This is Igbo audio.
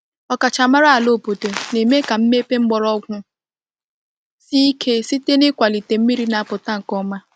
Ọkachamara ala obodo na-eme ka mmepe mgbọrọgwụ sie ike site n’ịkwalite mmiri na-apụta nke ọma.